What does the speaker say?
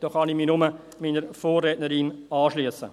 Ich kann mich bloss meiner Vorrednerin anschliessen.